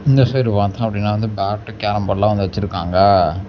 இந்த சைடு பாத்தோப்டினா வந்து பேட்டு கேரம் போர்டுலா வந்து வெச்சுருக்காங்க.